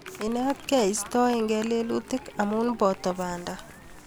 Ietkei iistoegei lelutik, amu poto panda